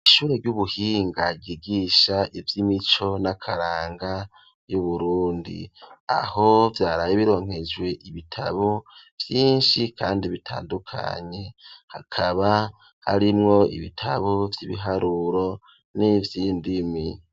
Ishure ry'ubuhinga ryigisha ivy'imico n'akaranga y'uburundi aho vyarabe bironkejwe ibitabo vyinshi kandi bitandukanye hakaba arimwo ibitabo vy'ibiharuro n'ivy'indimi.